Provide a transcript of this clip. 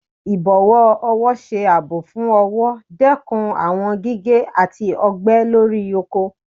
Ibọwọ ọwọ ṣe aabọ fún ọwọ, dekún awọn gige ati ọgbẹ lori oko.